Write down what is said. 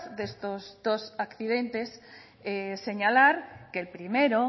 de estos dos accidentes señalar que el primero